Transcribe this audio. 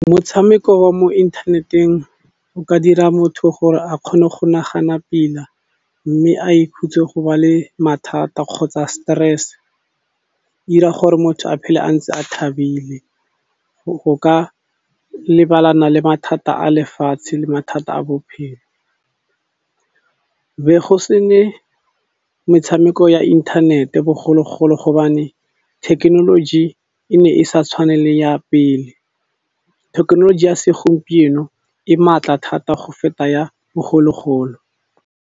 Motshameko wa mo inthaneteng o ka dira motho gore a kgone go nagana pila, mme a ikhutse go ba le mathata kgotsa stress. E dira gore motho a phele a ntse a thabile go ka lebalana le mathata a lefatshe le mathata a bophelo. Be go se ne metshameko ya inthanete bogologolo gobane thekenoloji e ne e sa tshwane le ya pele, thekenoloji ya segompieno e maatla thata go feta ya bogologolo.